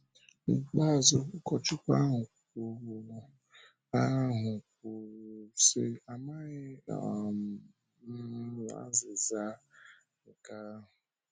N’ikpeazụ, ụkọchukwu ahụ kwụrụ ahụ kwụrụ sị, “Amaghị um m azịza nke ahụ.”